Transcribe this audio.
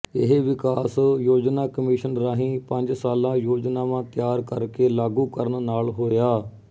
ਇਹ ਵਿਕਾਸ ਯੋਜਨਾ ਕਮਿਸ਼ਨ ਰਾਹੀਂ ਪੰਜ ਸਾਲਾ ਯੋਜਨਾਵਾਂ ਤਿਆਰ ਕਰ ਕੇ ਲਾਗੂ ਕਰਨ ਨਾਲ ਹੋਇਆ